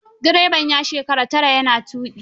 Direban ya shekara tara ya na tuƙi.